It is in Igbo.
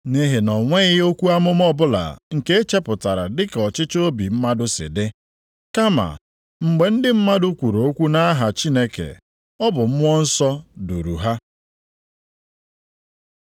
Nʼihi na o nweghị okwu amụma ọbụla nke e chepụtara dị ka ọchịchọ obi mmadụ si dị, kama mgbe ndị mmadụ kwuru okwu nʼaha Chineke, ọ bụ Mmụọ Nsọ duru ha.